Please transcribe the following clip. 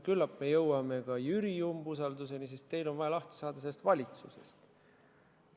Küllap me jõuame ka Jüri umbusaldamiseni, sest teil on vaja lahti saada sellest valitsusest.